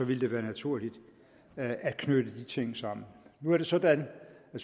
ville det være naturligt at knytte de ting sammen nu er det sådan at